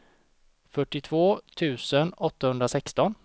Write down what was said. fyrtiotvå tusen åttahundrasexton